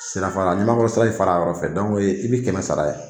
Sirafara Ɲamakɔrɔ sira in fara yɔrɔ fɛ i bɛ kɛmɛ sara ye.